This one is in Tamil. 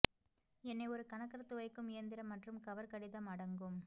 என்ன ஒரு கணக்கர் துவைக்கும் இயந்திரம் மற்றும் கவர் கடிதம் அடங்கும்